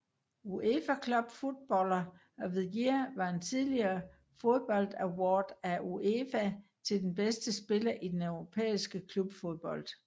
UEFA Club Footballer of the Year var en tidligere fodboldaward af UEFA til den bedste spiller i europæisk klubfodbold